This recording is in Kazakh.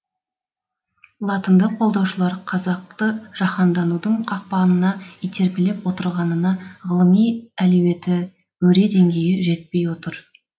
латынды қолдаушылар қазақты жаһанданудың қақпанына итермелеп отырғанына ғылыми әлеуеті өре деңгейі жетпей отыр